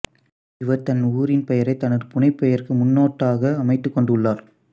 இவர் தன் ஊரின் பெயரைத் தனது புனைப்பெயருக்கு முன்னொட்டாக அமைத்துக்கொண்டுள்ளார்